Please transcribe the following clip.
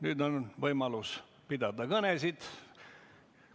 Nüüd on võimalus pidada kõnesid.